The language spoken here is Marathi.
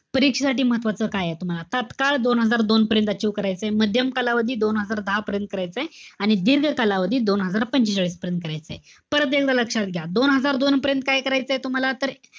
परीक्षेसाठी महत्वाचं काये तुम्हाला? तात्काळ दोन हजार दोनपर्यंत achieve करायचंय. माध्यम कालावधी दोन हजार दहापर्यंत करायचंय. आणि दीर्घ कालावधी दोन हजार पंचेचाळीसपर्यंत करायचंय. परत एकदा लक्षात घ्या. दोन हजार दोनपर्यंत काय करायचंय तुम्हाला? तर,